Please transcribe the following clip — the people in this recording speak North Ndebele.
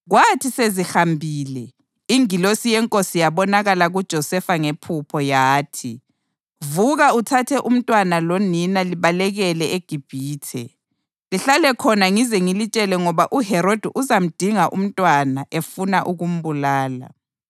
Kwathi sezihambile, ingilosi yeNkosi yabonakala kuJosefa ngephupho. Yathi, “Vuka uthathe umntwana lonina libalekele eGibhithe. Lihlale khonale ngize ngilitshele ngoba uHerodi uzamdinga umntwana efuna ukumbulala.”